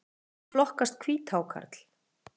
Hvernig flokkast hvíthákarl?